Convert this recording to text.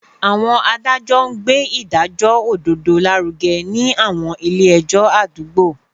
Àwọn adájọ́ ń gbé ìdájọ́ òdodo lárugẹ ní àwọn ilé ẹjọ́ àdúgbò